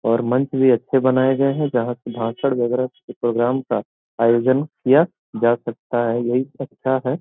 और मंच भी अच्छे बनाये गये हैं जहाँ से भाषण बगेरा प्रोग्राम का आयोजन किया जा सकता है यही तो अच्छा है।